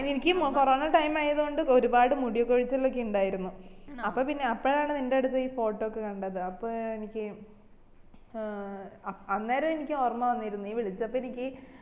എനിക്ക് ഈ corona time ആയതോണ്ട് ഒരുപാട് മുടി കോഴിച്ചാലൊക്കെ ഇണ്ടായിരുന്നു അപ്പോ പിന്നെ അപ്പോഴാണ് നിന്റെ അടുത്ത ഈ photo ഒക്കെ കണ്ടത് അപ്പൊ എനിക്ക് ഏർ അന്നേരം എനിക്ക് ഓർമ്മ വന്നിരുന്നു നീ വിളിച്ചപ്പോ എനിക്ക്